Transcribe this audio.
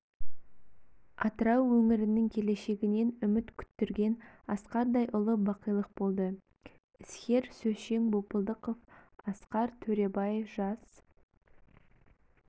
атырау өңірінің келешегінен үміт күттірген асқардай ұлы бақилық болды іскер һм сөзшең бопылдықов асқар төребай жас